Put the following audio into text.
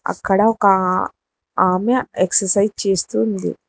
అక్కడ ఒకా ఆ ఆమె ఎక్సర్సైజ్ చేస్తూ ఉంది.